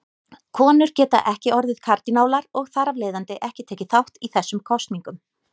Konur geta ekki orðið kardínálar og þar af leiðandi ekki tekið þátt í þessum kosningum.